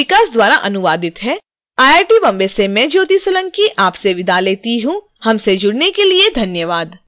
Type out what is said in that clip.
यह स्क्रिप्ट विकास द्वारा अनुवादित है आई आई टी बॉम्बे से मैं ज्योति सोलंकी आपसे विदा लेती हूँ हमसे जुडने के लिए धन्यवाद